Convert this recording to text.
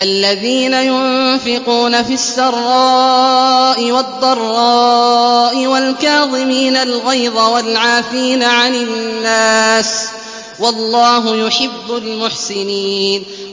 الَّذِينَ يُنفِقُونَ فِي السَّرَّاءِ وَالضَّرَّاءِ وَالْكَاظِمِينَ الْغَيْظَ وَالْعَافِينَ عَنِ النَّاسِ ۗ وَاللَّهُ يُحِبُّ الْمُحْسِنِينَ